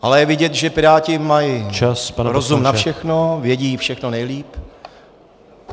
Ale je vidět, že Piráti mají rozum na všechno, vědí všechno nejlíp.